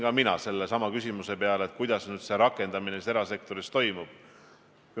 Ka mina mõtlesin küsimuse peale, kuidas selle rakendamine erasektoris ikkagi toimub.